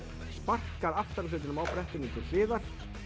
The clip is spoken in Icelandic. sparkar aftari hlutanum á brettinu til hliðar